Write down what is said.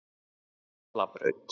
Hjallabraut